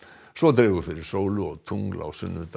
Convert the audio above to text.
svo dregur fyrir sólu og tungl á sunnudag